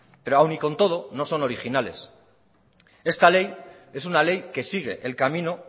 pero aún con todo no son originales esta ley es una ley que sigue el camino